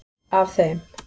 Af þeim